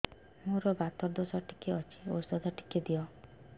ମୋର୍ ବାତ ଦୋଷ ଟିକେ ଅଛି ଔଷଧ ଟିକେ ଦିଅ